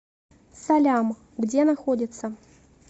салям где находится